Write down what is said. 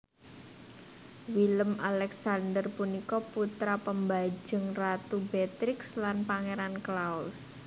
Willem Alexander punika putra pambajeng Ratu Beatrix lan Pangeran Claus